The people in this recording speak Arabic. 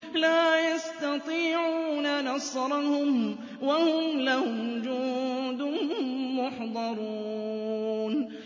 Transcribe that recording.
لَا يَسْتَطِيعُونَ نَصْرَهُمْ وَهُمْ لَهُمْ جُندٌ مُّحْضَرُونَ